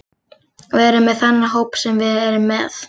Við erum með þennan hóp sem við erum með.